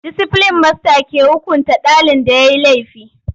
Disiplin masta ke hukunta ɗalin da yayi laifi.